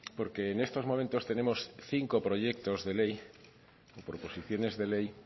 porque en estos momentos tenemos cinco proyectos de ley proposiciones de ley